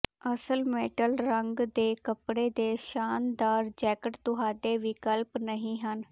ਅਸਲ ਮੈਟਲ ਰੰਗ ਦੇ ਕੱਪੜੇ ਦੇ ਸ਼ਾਨਦਾਰ ਜੈਕਟ ਤੁਹਾਡੇ ਵਿਕਲਪ ਨਹੀਂ ਹਨ